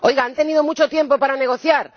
Han tenido mucho tiempo para negociar.